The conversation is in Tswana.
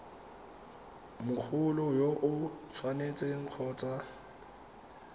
mogolo yo o tshwanetseng kgotsa